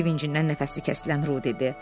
Sevincindən nəfəsi kəsilən Ru dedi.